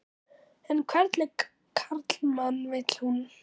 En hvernig karlmann vil hún?